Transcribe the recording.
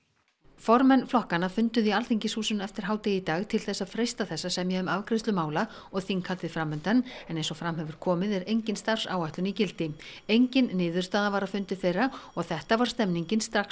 formenn flokkanna funduðu í Alþingishúsinu eftir hádegi í dag til þess að freista þess að semja um afgreiðslu mála og þinghaldið fram undan en eins og fram hefur komið er engin starfsáætlun í gildi engin niðurstaða var af fundi þeirra og þetta var stemningin strax